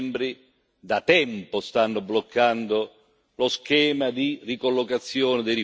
da tempo stanno bloccando lo schema di ricollocazione dei rifugiati.